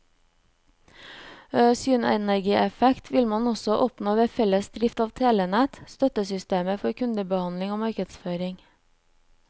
Synergieffekt vil man også oppnå ved felles drift av telenett, støttesystemer for kundebehandling og markedsføring.